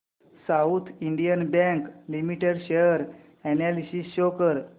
south Indian bank limited share analysis show कर